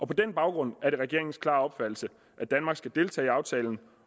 på den baggrund er det regeringens klare opfattelse at danmark skal deltage i aftalen